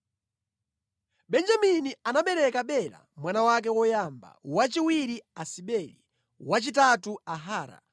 Benjamini anabereka Bela mwana wake woyamba, wachiwiri Asibeli, wachitatu Ahara,